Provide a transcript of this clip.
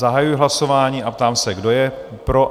Zahajuji hlasování a ptám se, kdo je pro?